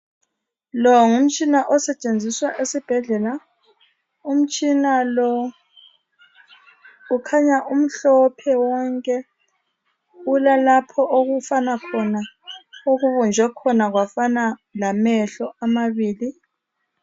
Lo ngumtshina osetshenziswa esibhedlela umtshina lo ukhanya umhlophe wonke kulalapho okufana khona okubunjwe khona kwafana lamehlo amabili .